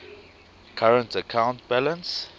current account balance